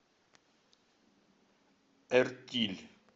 эртиль